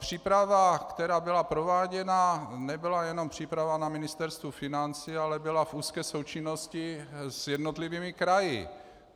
Příprava, která byla prováděna, nebyla jenom příprava na Ministerstvu financí, ale byla v úzké součinnosti s jednotlivými kraji.